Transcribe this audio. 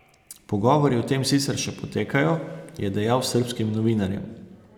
Pogovori o tem sicer še potekajo, je dejal srbskim novinarjem.